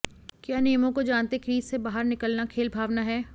क्या नियमों को जानते क्रीज से बाहर निकलना खेल भावना है